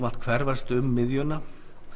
allt hverfast um miðjuna